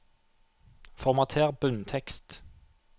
Formater bunntekst